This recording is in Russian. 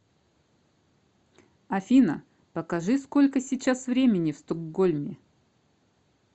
афина покажи сколько сейчас времени в стокгольме